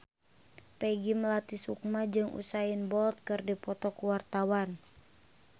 Peggy Melati Sukma jeung Usain Bolt keur dipoto ku wartawan